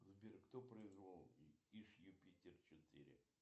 сбер кто произвел иж юпитер четыре